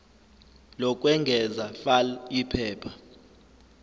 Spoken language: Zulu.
lokwengeza fal iphepha